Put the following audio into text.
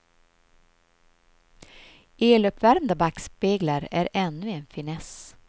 Eluppvärmda backspeglar är ännu en finess.